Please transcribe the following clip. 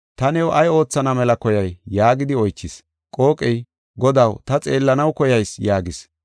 “Ta new ay oothana mela koyay?” yaagidi oychis. Qooqey, “Godaw ta xeellanaw koyayis” yaagis.